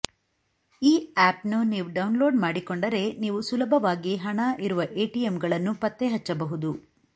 ಈ ಆಪ್ನ್ನು ನೀವು ಡೌನ್ಲೋಡ್ ಮಾಡಿಕೊಂಡರೆ ನೀವು ಸುಲಭವಾಗಿ ಹಣ ಇರುವ ಎಟಿಎಂಗಳನ್ನು ಪತ್ತೆಹಚ್ಚಬಹುದು